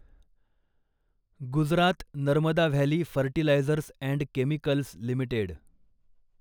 Gujarat Narmada Valley Fertilizers and Chemicals limited